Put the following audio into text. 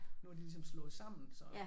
Nu er det ligesom slået sammen så